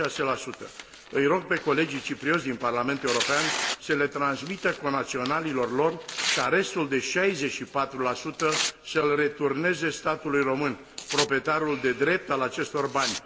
36. Îi rog pe colegii ciprioți din Parlamentul European să le transmită conaționalilor lor ca restul de 64 să l returneze statului român, proprietarul de drept al acestor bani.